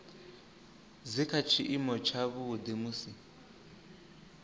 dzi kha tshiimo tshavhuḓi musi